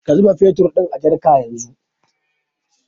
Ka zuba fetur ɗin a jarka yanzu